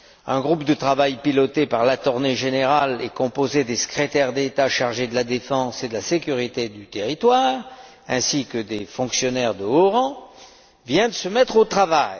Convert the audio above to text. Un groupe de travail piloté par l'Attorney General et composé des secrétaires d'État chargés de la défense et de la sécurité du territoire ainsi que de fonctionnaires de haut rang vient de se mettre au travail.